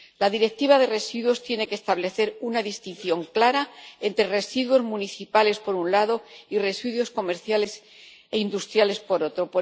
La Directiva relativa a los residuos tiene que establecer una distinción clara entre residuos municipales, por un lado, y resultados comerciales e industriales, por otro.